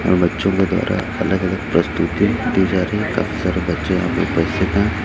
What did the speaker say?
और बच्चों के द्वारा अलग अलग प्रस्तुतिती दी जा रहे है काफी सारे बच्चे यहां पे प्रस्तुत हैं।